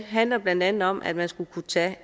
handler blandt andet om at man skal kunne tage